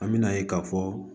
An me na ye ka fɔ